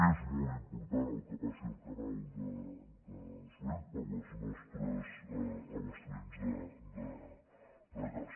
és molt important el que passi al canal de suez per als nostres abastaments de gas